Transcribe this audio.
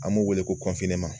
An b'u wele ko